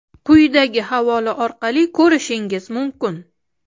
quyidagi havola orqali ko‘rishingiz mumkin.